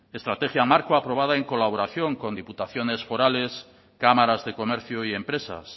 estrategia marco aprobada en colaboración con diputaciones forales cámaras de comercio y empresas